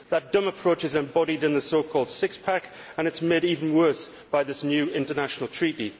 That dumb approach is embodied in the so called six pack and it is made even worse by this new international treaty.